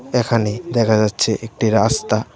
এখানে দেখা যাচ্ছে একটি রাস্তা .